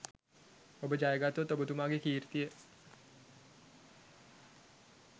ඔබ ජයගත්තොත් ඔබතුමාගේ කීර්තිය